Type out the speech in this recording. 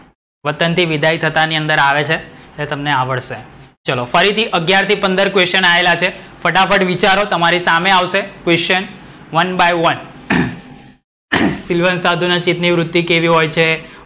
વતન થી વિદાય થતા ની અંદર આવે છે. એ તમને આવડશે. ફરીથી અગિયાર થી પંદર question આયેલા છે. ફટાફટ વિચારો તમારી સામે આવશે question one by one. સીલવાન સાધુના નિવૃત ની વૃત્તિ કેવી હોય છે?